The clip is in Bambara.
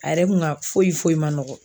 A yɛrɛ kun ka foyi foyi ma nɔgɔ